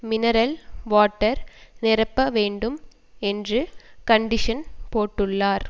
mineral water நிரப்பப வேண்டும் என்று கண்டிஷன் போட்டுள்ளார்